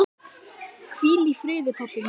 Hvíl í friði pabbi minn.